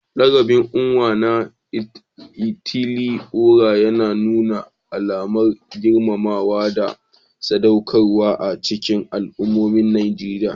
Lakabin Onwa-na-etili-ora yana nuna alamar girmamawa da sadaukarwa a cikin al'ummomin Najeriya.